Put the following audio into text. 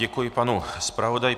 Děkuji panu zpravodaji.